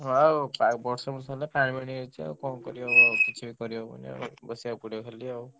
ହାଁ ଆଉ ବର୍ଷା ଫର୍ଷା ହେଲେ ପାଣି ମାଡି ଆସୁଛି ଆଉ କଣ କରିବା ଆଉ କିଛି ବି କରିହବନୀ ବସିଆ କୁ ପଡିବ ଖାଲି ଆଉ।